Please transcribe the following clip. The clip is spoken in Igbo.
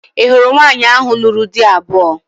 Ị hụrụ nwaanyị ahụ lụrụ di abụọ?